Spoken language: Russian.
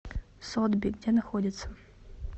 сотби где находится